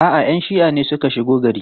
A'a, 'yan shi'a ne suka shigo gari.